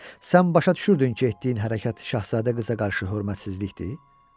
Sən başa düşürdün ki, etdiyin hərəkət şahzadə qıza qarşı hörmətsizlikdir?